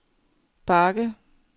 bakke